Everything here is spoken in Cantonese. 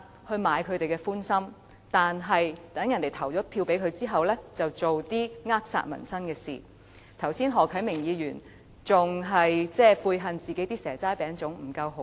可是，待選民投了票給他們後，他們便會做一些扼殺民生的事情，而何啟明議員剛才還嫌自己提供的"蛇齋餅粽"不夠豪華。